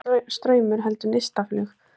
Ekki lengur straumur heldur neistaflug.